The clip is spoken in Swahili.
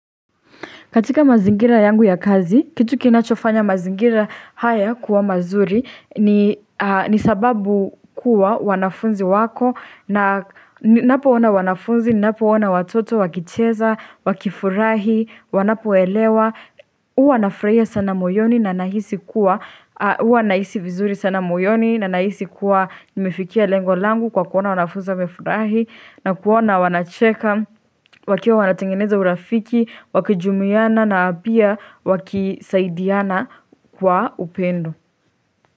Katika mazingira yangu ya kazi, kitu kinachofanya mazingira haya kuwa mazuri ni sababu kuwa wanafunzi wako na ninapo ona wanafunzi, ninapo ona watoto wakicheza, wakifurahi, wanapo elewa. Huwa nafurahia sana moyoni na ninahisi kuwa huwa nahisi vizuri sana moyoni na ninahisi kuwa Nimefikia lengo langu kwa kuona wanafunzi wamefurahi na kuona wanacheka wakiwa wanatengeneza urafiki Wakijumiana na pia wakisaidiana kwa upendo.